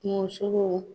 Kungosogo